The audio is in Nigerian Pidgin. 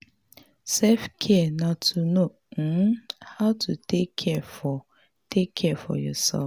selfcare na to know um how to take care for take care for yourself